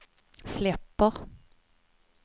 släpper